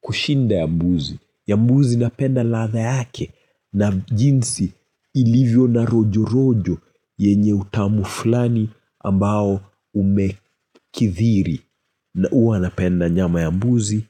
kushinda ya mbuzi. Ya mbuzi napenda ladha yake na jinsi ilivyo na rojo rojo yenye utamu flani ambao umekithiri. Na huwa napenda nyama ya mbuzi